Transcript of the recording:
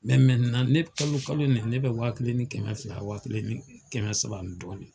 ne kalo kalo nin ye ne ka wa kelen ni kɛmɛ fila, wa kelen ni kɛmɛ saba ani dɔɔni.